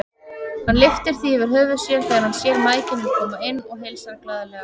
Hann lyftir því yfir höfuð sér þegar hann sér mæðginin koma inn og heilsar glaðlega.